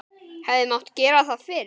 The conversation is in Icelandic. Hefði mátt gera það fyrr?